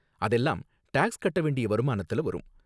அதெல்லாம் டாக்ஸ் கட்ட வேண்டிய வருமானத்துல வரும்.